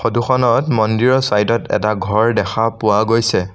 ফটোখনত মন্দিৰৰ ছাইডত এটা ঘৰ দেখা পোৱা গৈছে।